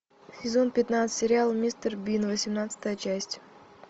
сезон пятнадцать сериал мистер бин восемнадцатая часть